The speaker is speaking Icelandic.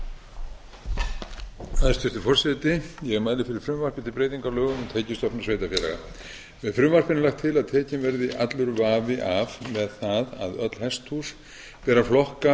mæli fyrir frumvarpi til laga um breytingu á lögum um tekjustofna sveitarfélaga með frumvarpinu er lagt til að tekinn verði allur vafi af með það að öll hesthús ber að flokka